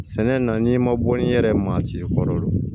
Sɛnɛ na n'i ma bɔ ni yɛrɛ maa ci ye kɔrɔ